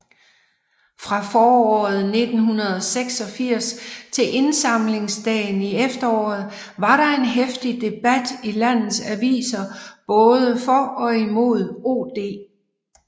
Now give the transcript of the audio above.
Fra foråret 1986 til indsamlingsdagen i efteråret var der en heftig debat i landets aviser både for og imod OD